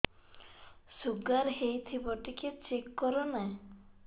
sugar ହେଇଥିବ ଟିକେ check କର ନା